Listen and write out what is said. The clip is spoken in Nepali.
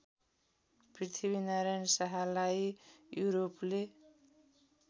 पृथ्वीनारायण शाहलाई युरोपले